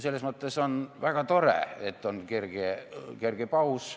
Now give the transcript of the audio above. Selles mõttes on väga tore, et on kerge paus.